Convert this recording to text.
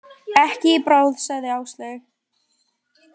Ekki í bráð, sagði Áslaug.